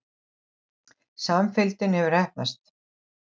Samfylgdin hafði heppnast.